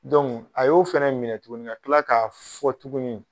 a y'o fana minɛ tuguni k'a kila k'a fɔ tuguni